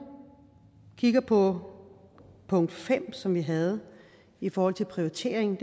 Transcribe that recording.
kigger på punkt fem som vi havde i forhold til prioriteringen